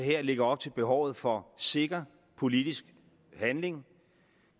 her lægger op til behovet for sikker politisk handling